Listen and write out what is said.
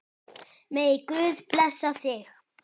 Megi Guð blessa þig.